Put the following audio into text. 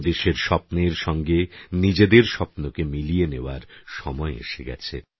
দেশের স্বপ্নের সঙ্গে নিজেদের স্বপ্নকে মিলিয়ে নেওয়ার সময় এসে গেছে